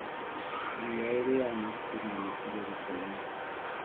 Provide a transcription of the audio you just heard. Thiia ĩrĩaga mahuti na nyeki gĩhakainĩ